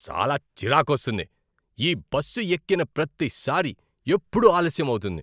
చాలా చిరాకొస్తుంది! ఈ బస్సు ఎక్కిన ప్రతిసారీ, ఎప్పుడూ ఆలస్యం అవుతుంది.